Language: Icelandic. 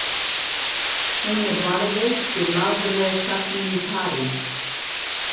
Hún er varðveitt í Louvre-safninu í París.